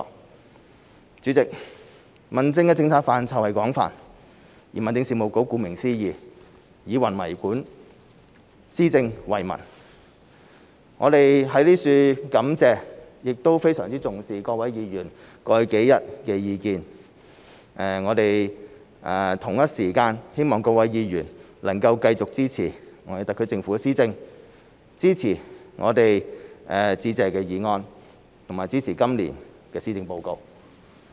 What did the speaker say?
代理主席，民政的政策範疇廣泛，民政事務局顧名思義，以民為本，施政為民，我們在此感謝亦非常重視各位議員過去數天的意見，我們同一時間希望各位議員能繼續支持特區政府的施政，支持致謝議案，以及支持今年的施政報告。